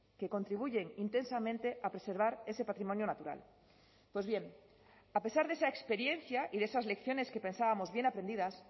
que contribuyen intensamente a preservar ese patrimonio natural pues bien a pesar de esa experiencia y de esas lecciones que pensábamos bien aprendidas